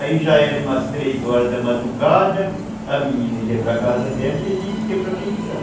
Aí já eram umas três horas da madrugada, a menina ia para a casa dela e a gente ia para a pensão.